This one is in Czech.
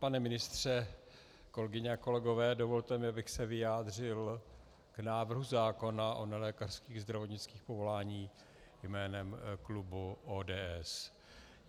Pane ministře, kolegyně a kolegové, dovolte mi, abych se vyjádřil k návrhu zákona o nelékařských zdravotnických povoláních jménem klubu ODS.